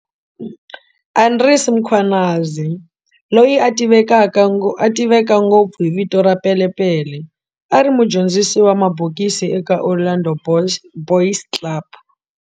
Andries Mkhwanazi, loyi a tiveka ngopfu hi vito ra"Pele Pele", a ri mudyondzisi wa mabokisi eka Orlando Boys Club.